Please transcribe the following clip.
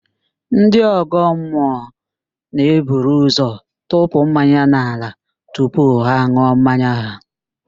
Ndị ọ̀gọ́mmụọ na-eburu ụzọ tụpụ mmanya n'ala tupu ha an̄ụọ mmanya ha